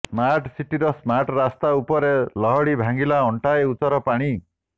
smart ସିଟିର smart ରାସ୍ତା ଉପରେ ଲହଡି ଭାଙ୍ଗିଲା ଅଣ୍ଟାଏ ଉଚ୍ଚର ପାଣି